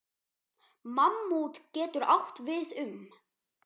Mammút getur átt við um